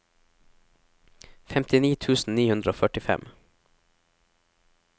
femtini tusen ni hundre og førtifem